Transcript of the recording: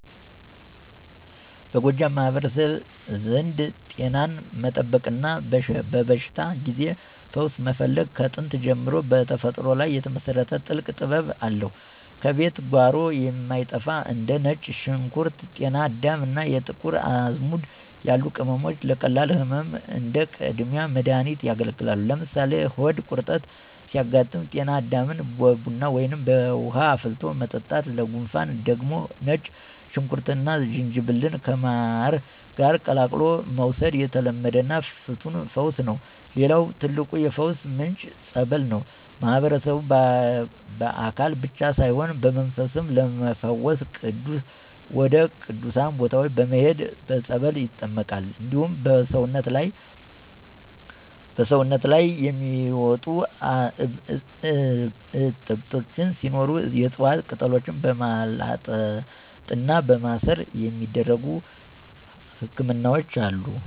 በጎጃም ማህበረሰብ ዘንድ ጤናን መጠበቅና በበሽታ ጊዜ ፈውስ መፈለግ ከጥንት ጀምሮ በተፈጥሮ ላይ የተመሰረተ ጥልቅ ጥበብ አለው። ከቤት ጓሮ የማይጠፉ እንደ ነጭ ሽንኩርት፣ ጤና አዳም እና የጥቁር አዝሙድ ያሉ ቅመሞች ለቀላል ህመሞች እንደ ቀዳሚ መድሃኒት ያገለግላሉ። ለምሳሌ ሆድ ቁርጠት ሲያጋጥም ጤና አዳምን በቡና ወይም በውሃ አፍልቶ መጠጣት፣ ለጉንፋን ደግሞ ነጭ ሽንኩርትና ዝንጅብልን ከማር ጋር ቀላቅሎ መውሰድ የተለመደና ፍቱን ፈውስ ነው። ሌላው ትልቁ የፈውስ ምንጭ "ፀበል" ነው። ማህበረሰቡ በአካል ብቻ ሳይሆን በመንፈስም ለመፈወስ ወደ ቅዱሳን ቦታዎች በመሄድ በፀበል ይጠመቃል። እንዲሁም በሰውነት ላይ የሚወጡ እብጠቶች ሲኖሩ የዕፅዋት ቅጠሎችን በማላጥና በማሰር የሚደረጉ ህክምናዎች አሉ።